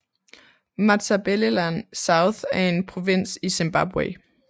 Matabeleland South er en provins i Zimbabwe